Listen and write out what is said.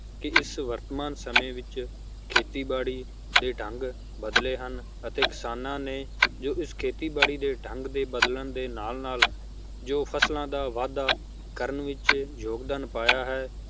ਕੀ ਇਸ ਵਰਤਮਾਨ ਸਮੇ ਵਿਚ ਖੇਤੀ ਬਾੜੀ ਦੇ ਢੰਗ ਬਦਲੇ ਹਨ ਅਤੇ ਕਿਸਾਨਾਂ ਨੇ ਜੋ ਇਸ ਖੇਤੀ ਬਾੜੀ ਦੇ ਢੰਗ ਦੇ ਬਦਲਣ ਦੇ ਨਾਲ ਨਾਲ ਜੋ ਫਸਲਾਂ ਦਾ ਵਾਧਾ ਕਰਨ ਵਿਚ ਯੋਗਦਾਨ ਪਾਇਆ ਹੈ